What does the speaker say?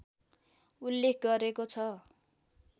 उल्लेख गरेको छ